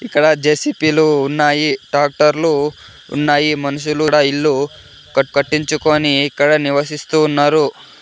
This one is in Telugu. ఇక్కడ జే_సి_బి లు ఉన్నాయి టాక్టర్లు ఉన్నాయి మనుషులు ఈడ ఇల్లు కట్టించుకొని ఇక్కడ నివసిస్తూ ఉన్నారు.